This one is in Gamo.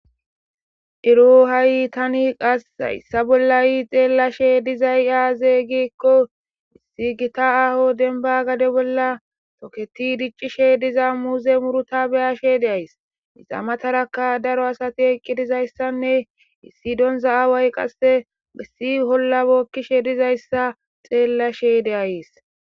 Eru ha'i tani qas hyssa bollayi xeellashe dizay aazey gikko issi gita aho denba gade bolla toketi diccishe diza muuze muruta beyashe deays isamataraka daro asati eqqi dizayssanne issi donza aaway qasse gessi hollabokkishe dizayssa xeellashe deayis.